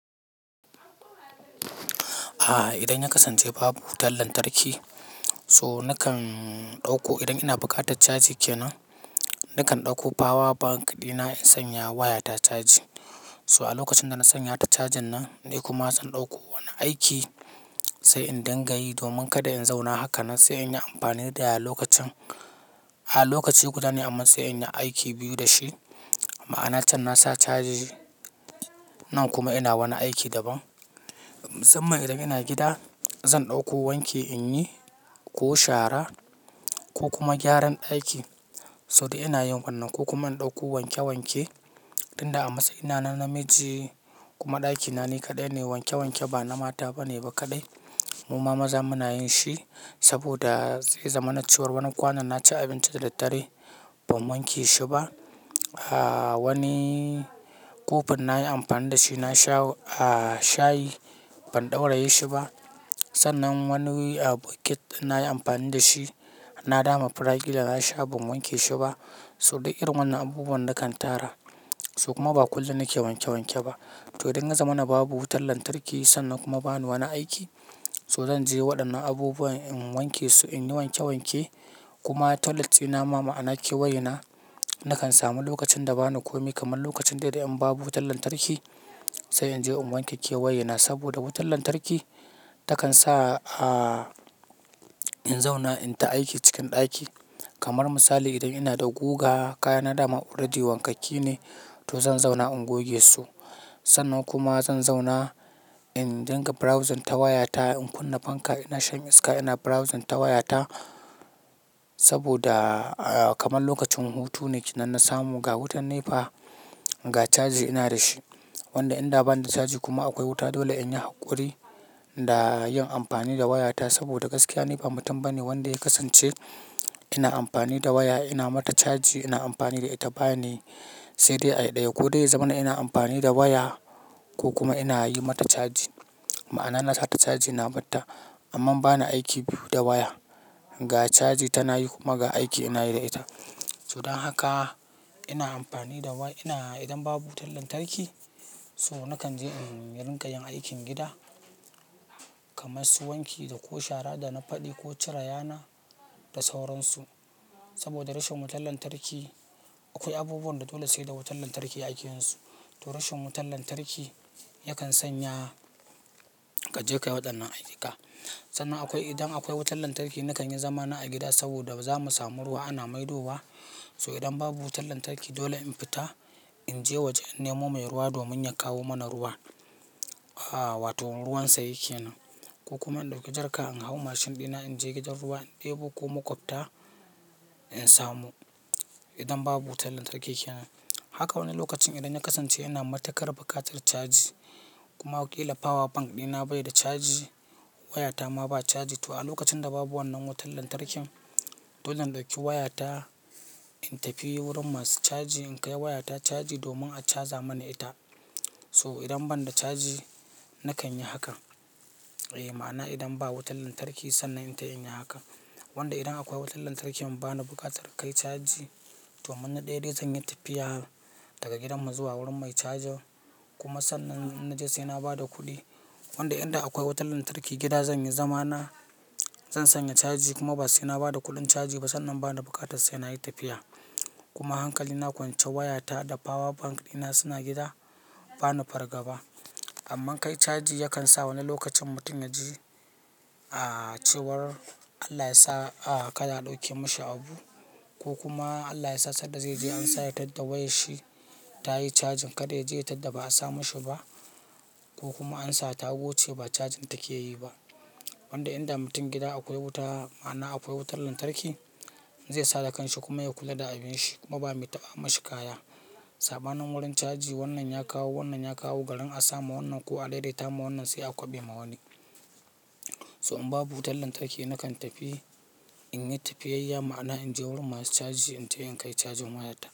A'a, idan ya kasance babu wutar lantarki, so nakan ɗauko idan ina buƙatar caji ke nan, nakan ɗauko power bank dina in sanya wayata caji. So a lokacin da na sanya ta cajin nan, ni kuma zan ɗauko wani aiki sai in dinga yi domin kada in zauna haka nan sai in yi amfani da ya lokacin, a lokaci guda ne amma sai in yi aiki biyu da shi. Ma'ana can na sa caji nan kuma ina wani aiki daban. Mu samma idan ina gida, zan ɗauko wanki in yi ko shara ko kuma gyaran ɗaki. So dai ina yin wannan ko kuma in ɗauko wanke wanke. Inda a matsayina na namiji kuma ɗakina ni kaɗai ne, wanke wanke ba na mata ba ne ba kaɗai. Muma maza muna yin shi saboda zai zama na cewar wani kwanan na ci abinci da daddare ban wanke shi ba. A'a wani kofin na yi amfani da shi na sha a'a shayi ban ɗauraye shi ba. Sannan wani bucket na yi amfani da shi, na dama fura ƙila na sha ban wanke shi ba. So dai irin wannan abubuwan na kan tara su kuma ba kullum na ke wanke wanke ba. To idan ya zama na babu wutar lantarki sannan kuma ba ni wani aiki, so zan je waɗannan abubuwa in wanke su, in yi wanke wanke kuma toilet dina ma ma'ana kewaye na, nakan samu lokacin da ba ni komai kamar lokacin da idan babu wutar lantarki, sai in je in wanke kewaye na saboda wutar lantarki takan sa a in zauna in ta aiki cikin ɗaki. Kamar misali idan ina da guga, kaya na dama oradi wankakki ne to zan zauna in goge su. Sannan kuma zan zauna in dinga browsing ta wayata in kunna fanka ina shan iska ina browsing ta wayata saboda kamar lokacin hutu ne ke nan na samu ga wutan ne fa ga caji ina da shi. Wanda in da bani da caji kuma akwai wuta dole in yi haƙuri da yin amfani da wayata saboda gaskiya ni ba mutum bane wanda ya kasance ina amfani da waya ina mata caji ina amfani da ita bane sai dai ayi ɗaya ko dai ya zama ina amfani da waya ko kuma ina yi mata caji. Ma'ana na sa ta caji na batta amma ba ni aiki biyu da waya. Ga caji tana yi kuma ga aiki ina yi da ita. So dan haka ina amfani da wa ina idan babu wutar lantarki so nakan je in yi rinƙa yin aikin gida kamar su wanki da ko shara da na faɗi ko cire yana da sauransu. Saboda rashin wutar lantarki akwai abubuwan da dole sai da wutar lantarki aikin su. To rashin wutar lantarki yakan sanya ka je ka yi waɗannan ayika. Sannan akwai idan akwai wutar lantarki nakan yi zamana a gida saboda bazamu samu ruwa ana maidowa. So idan babu wutar lantarki dole in fita in je waje in nemo mai ruwa domin ya kawo mana ruwa. A'a wato ruwansa yake nan ko kuma in ɗauki jarka in hau mashin dina in je gidan ruwa in ɗebo ko makwabta in samu idan babu wutar lantarki ke nan. Haka wani lokacin idan na kasance ina matuƙar buƙatar caji kuma kila power bank dina bai da caji, wayata ma ba caji. To a lokacin da babu wannan wutar lantarkin, dole in ɗauki wayata in tafi wurin masu caji in kai wayata caji domin a caza mana ita. So idan ban da caji nakan yi hakan. Eh ma'ana idan ba wutar lantarki sannan itai in yi hakan. Wanda idan akwai wutar lantarkin bani buƙatar kai caji to amman na daya dai zanyi tafiya daga gidan mu zuwa wurin mai cajin kuma sannan idan naje saina bada kudi. Wanda idan akwai wutar lantarki gida zan yi zamana, zan sanya caji kuma ba sai na ba da kuɗin caji ba sannan ba ni buƙatar sai na yi tafiya. Kuma hankali na kwance wayata da power bank dina suna gida ba ni farga ba. Amma kai caji yakan sa wani lokacin mutum ya ji a'a cewar Allah ya sa a'a kaɗa a ɗauke mashi abu ko kuma Allah ya sa sanda zai je an sa ya tadda wayar shi ta yi cajin kaɗa ya je ya tadda ba a sa mashi ba ko kuma an sa ta goce ba cajin take yi ba. Wanda idan mutum gida akwai wuta ma'ana akwai wutar lantarki, zai sa da kanshi kuma ya kula da abinshi kuma ba mai taɓa mashi kaya. Saɓanin wurin caji wannan ya kawo wannan ya kawo garin a sa ma wannan ko a daidaita ma wannan sai a kwaɓe ma wani. So in babu wutar lantarki nakan tafi in yi tafiyayya ma'ana in je wurin masu caji in ce in kai cajin wayata.